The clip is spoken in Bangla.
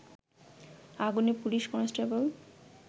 আগুনে পুলিশ কনস্টেবল